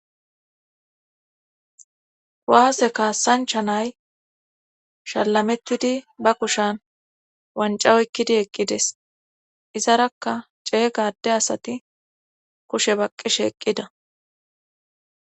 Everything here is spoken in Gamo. Waase kaassanchanay shallametudi ba kushan wancawoykkidi eqqides izarakka cee gade asati kushe baqqishe eqqida